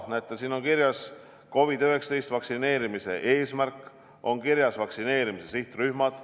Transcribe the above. Näete, siin on kirjas COVID-19 vastu vaktsineerimise eesmärk ja vaktsineerimise sihtrühmad.